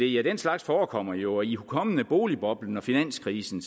ja den slags forekommer jo og ihukommende boligboblen og finanskrisen